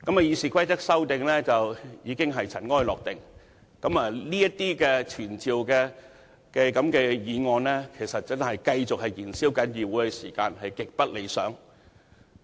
《議事規則》的修訂已經塵埃落定，這等傳召官員的議案只是繼續燃燒議會的時間，極不理想。